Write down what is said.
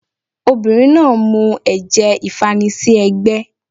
Obìnrin náà mu ẹ̀jẹ̀ ìfanisí ẹ́gbẹ́